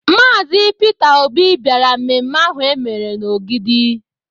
Maazi Pita Obi bịara mmemme ahụ e mere n'Ogidi.